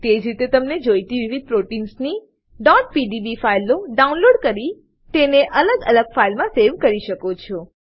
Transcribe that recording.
તેજ રીતે તમે જોઈતી વિવિધ પ્રોટીન્સની pdb ફાઈલો ડાઉનલોડ કરીને તેને અલગ ફાઈલમાં સેવ કરી શકો છો